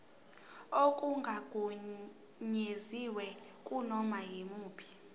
okungagunyaziwe kunoma yimuphi